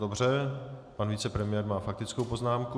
Dobře, pan vicepremiér má faktickou poznámku.